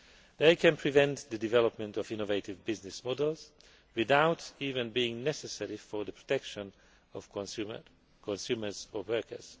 They can prevent the development of innovative business models without even being necessary for the protection of consumers or workers.